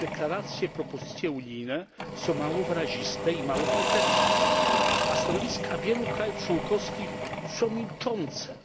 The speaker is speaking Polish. Deklaracje, propozycje unijne są mało wyraziste i mało konkretne, a stanowiska wielu krajów członkowskich są milczące,